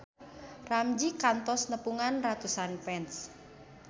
Ramzy kantos nepungan ratusan fans